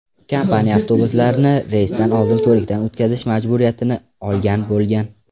Kompaniya avtobuslarni reysdan oldin ko‘rikdan o‘tkazish majburiyatini olgan bo‘lgan.